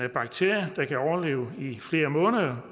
en bakterie der kan overleve i flere måneder